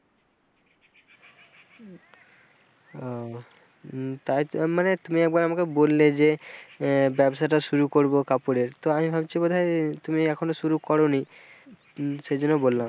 ও উম তাই মানে তুমি একবার আমাকে বললে যে আহ ব্যবসাটা শুরু করব কাপড়ের তো আমি ভাবছি বোধহয় তুমি এখনো শুরু করেনি সেজন্য বললাম।